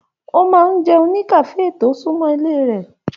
O máa n jẹun ní kafe to sunmọ ilé rẹ.